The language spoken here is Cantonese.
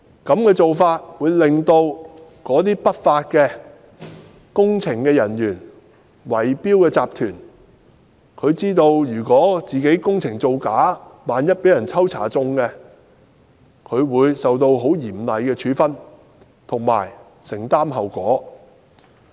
這個做法會令不法工程人員和圍標集團知道，如果工程造假，萬一被抽中檢驗，便會受到很嚴厲的處分，並要承擔後果。